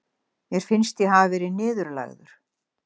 Mér finnst ég hafa verið niðurlægður.